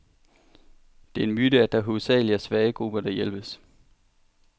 Det er en myte, at det hovedsageligt er svage grupper, der hjælpes.